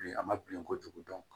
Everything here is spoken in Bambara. Bilen a ma bilen kojugu dɔn